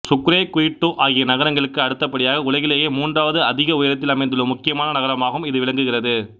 Sucre Quito ஆகிய நகரங்களுக்கு அடுத்தபடியாக உலகிலேயே மூன்றாவது அதிக உயரத்தில் அமைந்துள்ள முக்கியமான நகரமாகவும் இது விளங்குகிறது